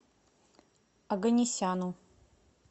оганесяну